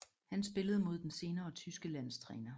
Han spillede mod den senere tyske landstræner